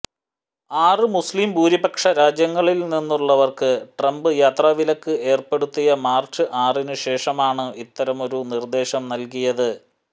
ആറ് മുസ്ലിം ഭൂരിപക്ഷ രാജ്യങ്ങളില്നിന്നുള്ളവര്ക്ക് ട്രംപ് യാത്രാ വിലക്ക് ഏര്പ്പെടുത്തിയ മാര്ച്ച് ആറിന് ശേഷമാണ് ഇത്തരമൊരു നിര്ദേശം നല്കിയത്